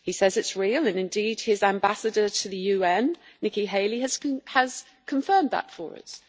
He says it is real and indeed his ambassador to the UN, Nikki Haley, has confirmed that for us.